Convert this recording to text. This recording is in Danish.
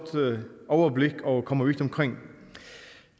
overblik og kommer vidt omkring